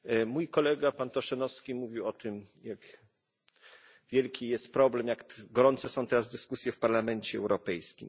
Mój kolega, pan Tošenovský, mówił o tym, jak wielki jest problem, jak gorące są teraz dyskusje w Parlamencie Europejskim.